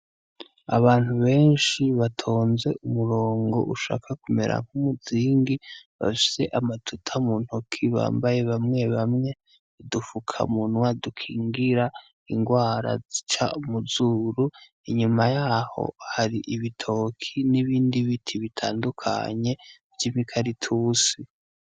Abantu benshi batonze umurongo ushaka kumera nk'umuzingi, bashize amatuta mu ntoki bambaye bamwe bamwe udufukamunwa dukingira ingwara zica muzuru , inyuma yaho har'ibitoki n'ibindi biti bitandukanye vy'imikaratusi.